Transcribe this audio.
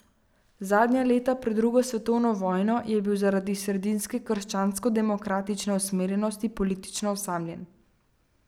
Zadnja leta pred drugo svetovno vojno je bil zaradi sredinske krščanskodemokratične usmerjenosti politično osamljen.